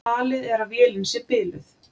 Talið er að vélin sé biluð